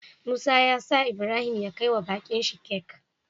Musa yasa Ibrahim ya kai wa bakin shi cake